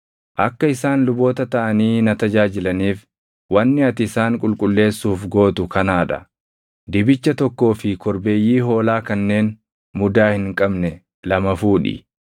“Akka isaan luboota taʼanii na tajaajilaniif wanni ati isaan qulqulleessuuf gootu kanaa dha; dibicha tokkoo fi korbeeyyii hoolaa kanneen mudaa hin qabne lama fuudhi.